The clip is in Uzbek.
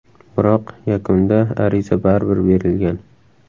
Biroq yakunda ariza baribir berilgan.